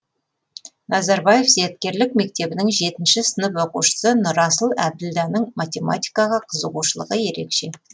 назарбаев зияткерлік мектебінің жетінші сынып оқушысы нұрасыл әбділданың математикаға қызығушылығы ерекше